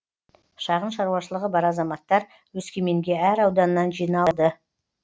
шағын шаруашылығы бар азаматтар өскеменге әр ауданнан жиналды